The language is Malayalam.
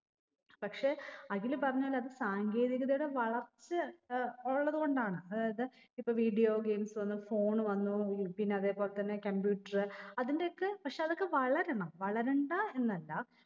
പക്ഷെ അഖിൽ പറഞ്ഞ പോലെ അത് സാങ്കേതികതയുടെ വളർച്ച ഏർ ഉള്ളത് കൊണ്ടാണ് അതായത് ഇപ്പൊ video games വന്നു phone വന്നു ഉം പിന്നെ അതെ പോലെ തന്നെ computer അതിന്റെയൊക്കെ പക്ഷെ അതൊക്കെ വളരണം വളരണ്ട എന്നല്ല